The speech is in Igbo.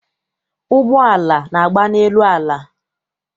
Ụgbọala na-agba n'elu ala.